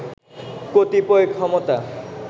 কতিপয় ক্ষমতা